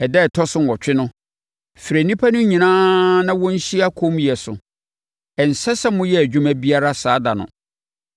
“ ‘Ɛda a ɛtɔ so nwɔtwe no, frɛ nnipa no nyinaa na wɔnhyia kommyɛ so. Ɛnsɛ sɛ moyɛ adwuma biara saa ɛda no.